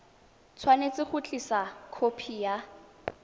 tshwanetse go tlisa khopi ya